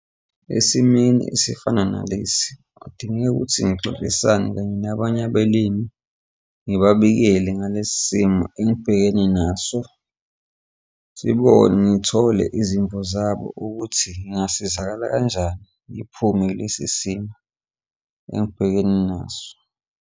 Emasimeni esifana nalesi kudingeka ukuthi ngixoxisane nabanye abalimi ngibabikele ngalesi simo engibhekene naso sibone ngithole izimvu zabo ukuthi ngingasizakala kanjani ngiphume kulesi simo engibhekene naso.